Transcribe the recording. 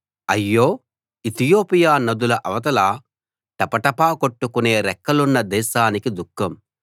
అయ్యో ఇతియోపియా నదుల అవతల టపటపా కొట్టుకునే రెక్కలున్న దేశానికి దుఃఖం